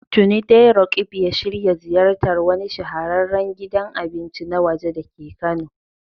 Tuni dai Roqeeb ya shirya ziyartar wani shahararren gidan abinci na waje dake Kano.